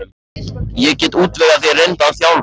Ég get útvegað þér reyndan þjálfara.